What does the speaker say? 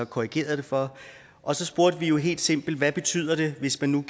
korrigerede det for og så spurgte vi helt simpelt hvad betyder det hvis man nu